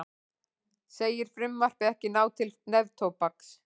Segir frumvarpið ekki ná til neftóbaks